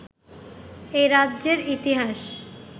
এ রাজ্যের ইতিহাস